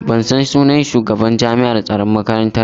Ban san sunan shugaban jami'an tsaron makarantar mu ba.